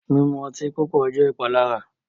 Mimu ọtí pupọ jẹ ìpalára.